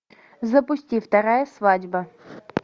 запусти вторая свадьба